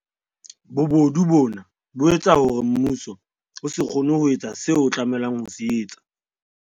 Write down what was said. Bobodu bona bo etsa hore mmuso o se kgone ho etsa seo o tlameha ho se etsa.